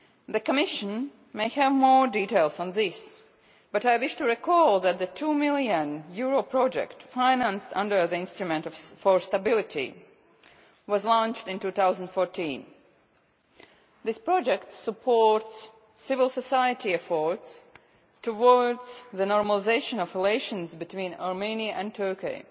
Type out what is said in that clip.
The Commission may have more details on this, but I wish to recall that the EUR 2 million project financed under the Instrument for Stability was launched in 2014. This project supports civil society efforts towards the normalisation of relations between Armenia and Turkey.